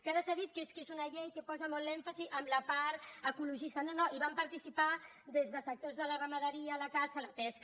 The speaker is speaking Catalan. que ara s’ha dit que és que és una llei que posa molt l’èmfasi en la part ecologista no no hi van participar des de sectors de la ramaderia a la caça o la pesca